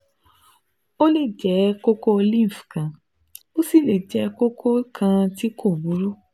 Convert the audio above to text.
Ó lè jẹ́ kókó lymph kan, ó sì lè jẹ́ kókó kan tí kò burú